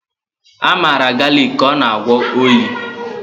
A maara galịk ka ọ na-agwọ oyi.